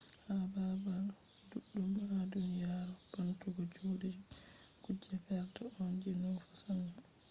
ha babal duddum ha duniyaru bantugo jude kuje perda on je nufata sannu.